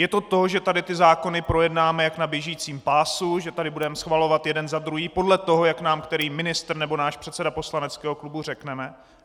Je to to, že tady ty zákony projednáme jak na běžícím pásu, že tady budeme schvalovat jeden za druhým podle toho, jak nám který ministr nebo náš předseda poslaneckého klubu řekne?